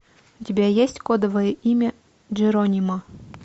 у тебя есть кодовое имя джеронимо